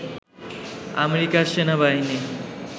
আমেরিকার সেনাবাহিনী